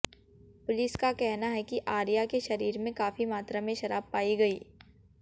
police का कहना है कि आर्या के शरीर में काफी मात्रा में शराब पाई गई